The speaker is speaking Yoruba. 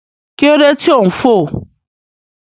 Kí ló dé tí ò ń fò?